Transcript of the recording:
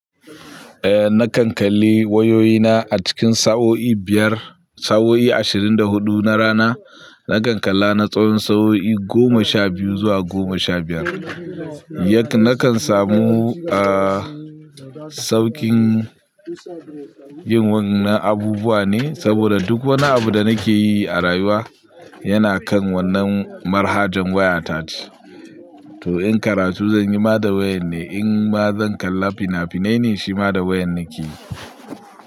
Eh na kan kalli wayoyina a cikin sa'o'i biyar, sa'o'i ashirin da hudu na rana. Na kan kalla na tsawon sa'o'i goma sha biyu zuwa goma sha biyar. Nakan samu, ah, saukin yin wannan abubuwa ne saboda duk wani abu da nake yi a rayuwa yana kan wannan manhajar wayata ce. To in karatu zan yi ma da wayan ne, in ma zan kalla fina-finai ne shi ma da wayar nake yi.